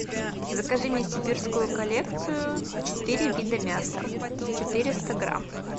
закажи мне сибирскую коллекцию четыре вида мяса четыреста грамм